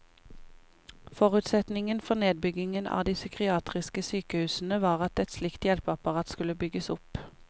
Forutsetningen for nedbyggingen av de psykiatriske sykehusene var at et slikt hjelpeapparat skulle bygges opp.